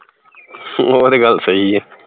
ਓਹ ਤੇ ਗੱਲ ਸਹੀ ਏ